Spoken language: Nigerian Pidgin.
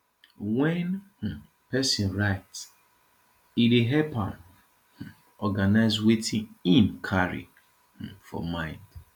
when um person write e dey help am um organize wetin im carry um for mind